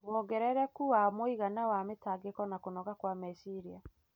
wongerereku wa mũigana wa mĩtangĩko na kũnoga kwa meciria.